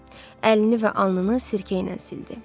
Əlini və alnını sirkə ilə sildi.